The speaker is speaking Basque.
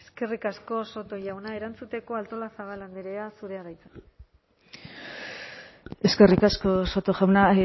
eskerrik asko soto jauna erantzuteko artolazabal andrea zurea da hitza eskerrik asko soto jauna